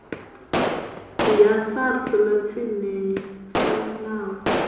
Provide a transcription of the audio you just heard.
ya sars ḽa tsinisa navho